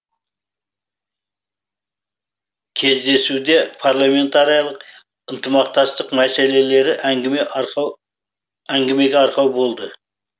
кездесуде парламентаралық ынтымақтастық мәселелері әңгімеге арқау болды